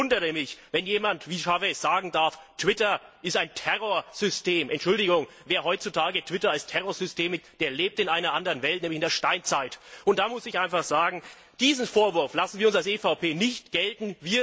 Ich wundere mich, wenn jemand wie Chávez sagen darf Twitter ist ein Terrorsystem. Entschuldigung, wer heutzutage Twitter als Terrorsystem bezeichnet, der lebt in einer anderen Welt, nämlich in der Steinzeit. Da muss ich sagen Diesen Vorwurf lassen wir als EVP nicht gelten.